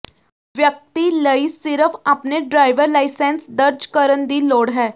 ਵਿਅਕਤੀ ਲਈ ਸਿਰਫ਼ ਆਪਣੇ ਡਰਾਈਵਰ ਲਾਇਸੰਸ ਦਰਜ ਕਰਨ ਦੀ ਲੋੜ ਹੈ